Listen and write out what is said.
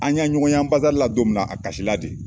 An y'a ɲɔgɔn ya anbansadi la don min na a kasila de